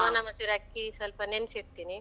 ಸೋನಾ ಮಸೂರಿ ಅಕ್ಕಿ ಸ್ವಲ್ಪ ನೆನ್ಸಿಡ್ತಿನಿ.